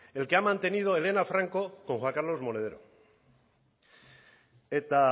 el que ha mantenido elena franco con juan carlos monedero eta